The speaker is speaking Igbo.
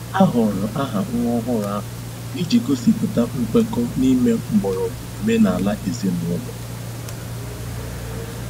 A họọrọ aha nwa ọhụrụ ahụ iji gosipụta nkwekọ n'ime mgbọrọgwụ omenala ezinụlọ.